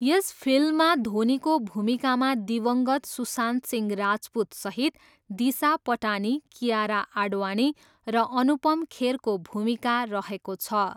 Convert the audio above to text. यस फिल्ममा धोनीको भूमिकामा दिवङ्गत सुशान्त सिंह राजपुतसहित दिशा पटानी, कियारा आडवाणी र अनुपम खेरको भूमिका रहेको छ।